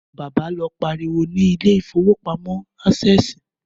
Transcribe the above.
Bàbá lọ pariwo ni ilé ìfowópamọ́ Ásẹ̀sì